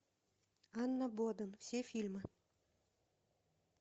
анна боден все фильмы